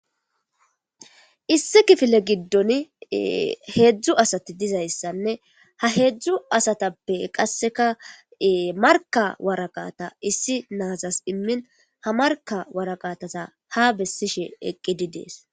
Issi kifile giddon heedzdzu asati dizayssanne ha heedzdzu asatappe qasseka marka waraqata issi naazas immin ha marka waraqatasa ha bessishe eqqidi dees.